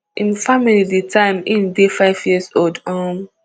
im family di time im dey five years um